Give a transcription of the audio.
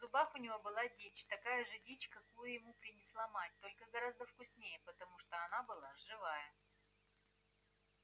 в зубах у него была дичь такая же дичь какую ему приносила мать только гораздо вкуснее потому что она была живая